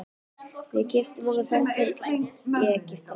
Við keyptum okkur ferð til Egyptalands.